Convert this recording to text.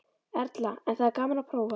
Erla: En það er gaman að prófa?